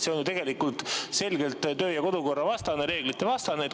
See on ju selgelt töö‑ ja kodukorra vastane, reeglitevastane.